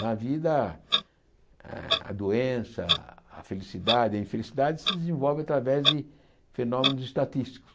Na vida, a a doença, a felicidade e a infelicidade se desenvolvem através de fenômenos estatísticos.